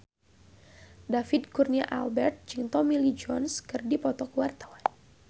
David Kurnia Albert jeung Tommy Lee Jones keur dipoto ku wartawan